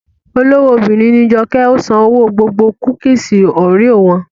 Olówó obìnrin ní Joke, ó san owó gbogbo kúkìsì Oreo wọn